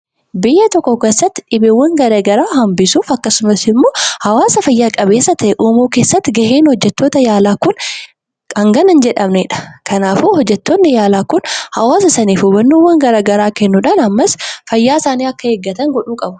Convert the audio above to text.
Biyya tokko keessatti dhukkuba hanbisuu yookiin hawaasa fayyaa qabeessa ta'e tokko uumuun barabaachisaadha. Hojjettoonni fayyaa kun hawaasaaf hubannoo kennuun akka hawaasni fayyaa isaanii eeggatan gochuun ni danada'u.